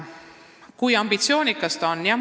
Kui ambitsioonikad me oleme?